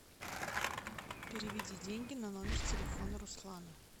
переведи деньги на номер телефона руслана